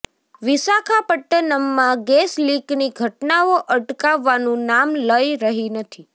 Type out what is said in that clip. વિશાખાપટ્ટનમમાં gas લીકની ઘટનાઓ અટકવાનું નામ લઈ રહી નથી